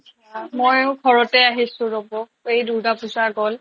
আ ময়ো ঘৰতে আহিছো ৰ'বক এই দুৰ্গা পূজা গ'ল